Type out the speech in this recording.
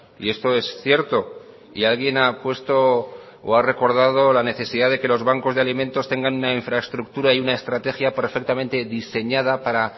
y esto es cierto y alguien ha puesto o ha recordado la necesidad de que los bancos de alimentos tengan una infraestructura y una estrategia perfectamente diseñada para